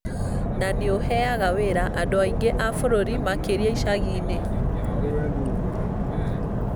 na nĩ ũheaga wĩra andũ aingĩ a bũrũri, makĩria icagi-inĩ.